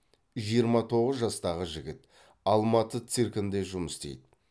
жиырма тоғыз жастағы жігіт алматы циркінде жұмыс істейді